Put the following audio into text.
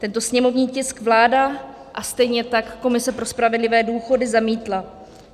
Tento sněmovní tisk vláda a stejně tak Komise pro spravedlivé důchody zamítla.